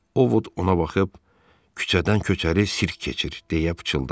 O ona baxıb küçədən köçəri sirk keçir deyə pıçıldadı.